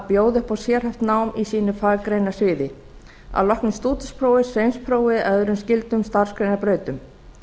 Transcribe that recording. bjóða upp á sérhæft nám í sínu faggreinasviði að loknu stúdentspróf sveinsprófi og öðrum skyldum starfsgreinabrautum